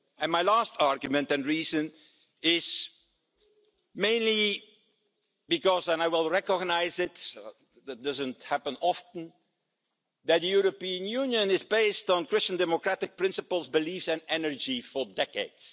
My last argument and reason is mainly because, and I will recognise it that doesn't happen often that the European Union has been based on Christian democratic principles, beliefs and energy for decades.